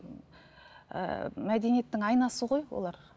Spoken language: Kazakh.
ііі мәдениеттің айнасы ғой олар